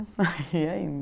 Aí ia indo